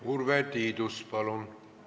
Urve Tiidus, palun!